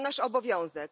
To nasz obowiązek.